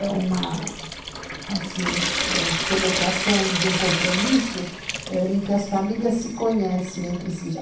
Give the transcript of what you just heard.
É uma, assim, ãh, celebração de um compromisso em que as famílias se conhecem entre si.